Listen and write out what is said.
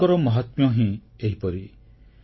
ଗୁରୁଙ୍କର ମାହାତ୍ମ୍ୟ ହିଁ ଏହିପରି